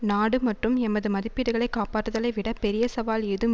நாடு மற்றும் எமது மதிப்பீடுகளை காப்பாற்றுதலை விட பெரிய சவால் ஏதும்